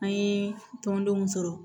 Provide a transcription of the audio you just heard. An ye tɔndenw sɔrɔ